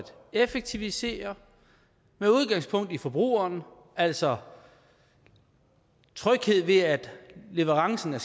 effektivisere med udgangspunkt i forbrugeren altså tryghed ved at leverancen af